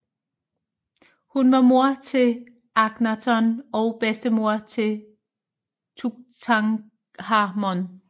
Hun var mor til Akhnaton og bedstemor til Tutankhamon